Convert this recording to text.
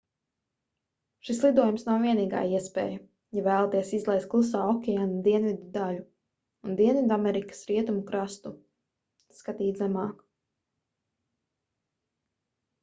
šis lidojums nav vienīgā iespēja ja vēlaties izlaist klusā okeāna dienvidu daļu un dienvidamerikas rietumu krastu. skatīt zemāk